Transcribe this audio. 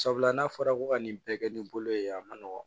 Sabula n'a fɔra ko ka nin bɛɛ kɛ ni bolo ye a ma nɔgɔn